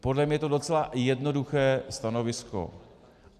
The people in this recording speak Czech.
Podle mě je to docela jednoduché stanovisko.